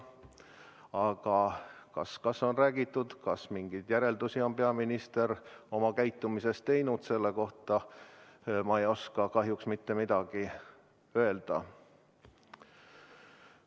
Aga kas ta on rääkinud, kas peaminister on oma käitumisest mingeid järeldusi teinud, selle kohta ma ei oska kahjuks mitte midagi öelda.